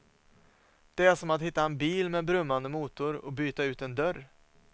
Det är som att hitta en bil med brummande motor och byta ut en dörr.